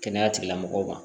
Kɛnɛya tigilamɔgɔw ma